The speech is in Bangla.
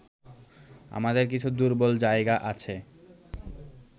আমাদের কিছু দুর্বল জায়গা আছে